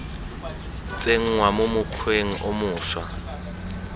tsenngwa mo mokgweng o moša